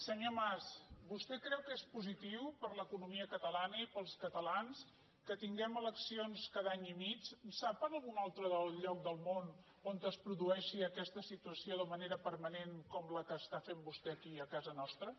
senyor mas vos·tè creu que és positiu per a l’economia catalana i per als catalans que tinguem eleccions cada any i mig sap d’algun altre lloc del món on es produeixi aques·ta situació de manera permanent com la que està fent vostè aquí a casa nostra